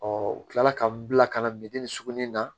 u kila la ka n bila ka na sugunin na